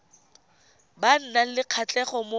ba nang le kgatlhego mo